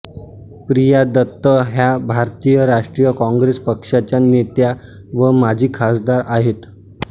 प्रिया दत्त ह्या भारतीय राष्ट्रीय काँग्रेस पक्षाच्या नेत्या व माजी खासदार आहेत